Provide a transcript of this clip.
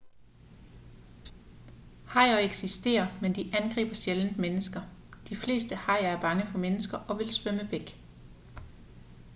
hajer eksisterer men de angriber sjældent mennesker de fleste hajer er bange for mennesker og vil svømme væk